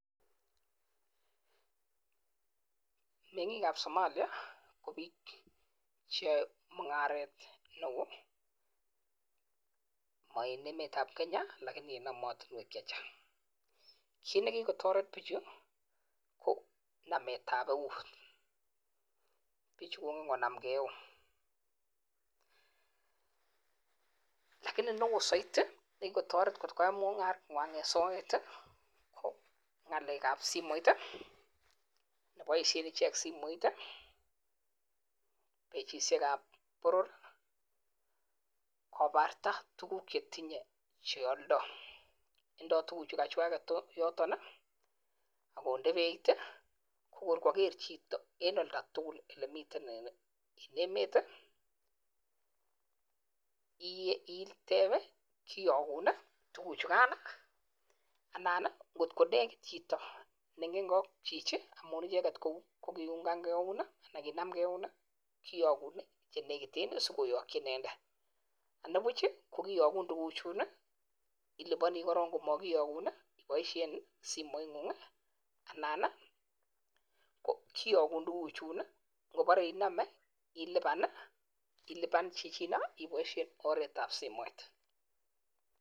Meng'ik ab Somalia ko biik che yoe mung'aret neo, mo en emetab Kenya lakini en emotinwek che chang. Kit ne kigotoret bichu ko nametab eun, bichu kongen konam ke eun. Lakini neo soiti ne kigotoret kot koyai mung'arenywan en soet ii, ko ng'alekab simoit ii ne boisien icheget simoit ii, pechishekab boror, kobarta tugukche tinye che oldoi. Indo tuguchukachwaget yoton ak konde beiit ii ko kor koger chito en olda tugul ele miten en emet. Iteb kiyogun tuguchugan anan ngot ko negit chito neingen ke ak chichi amun icheget ko kiungan ke eun, anan kinamge eun kiyogun ye negiten asikoyoki inendet. Ani buch kogiyogun tuguchun ii, iliboni korong komokiyokun ii iboishen simoitng'ung anan kiyokun tuguchun ngobore inome iliban chichino iboishen oretab simoit.